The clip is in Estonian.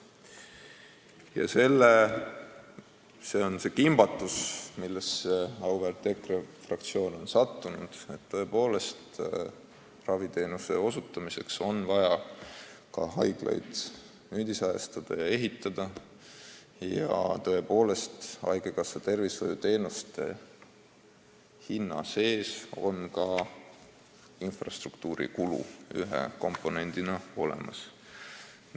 Auväärt EKRE fraktsioon on kuidagi nagu kimbatusse sattunud, aga jah, raviteenuse osutamiseks on vaja ka haiglaid nüüdisajastada ja ehitada ning haigekassa tervishoiuteenuste hinna sees on tõepoolest ka infrastruktuuri kulu ühe komponendina olemas.